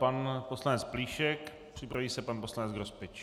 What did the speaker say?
Pan poslanec Plíšek, připraví se pan poslanec Grospič.